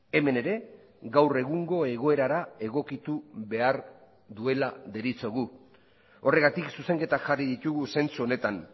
hemen ere gaur egungo egoerara egokitu behar duela deritzogu horregatik zuzenketak jarri ditugu zentzu honetan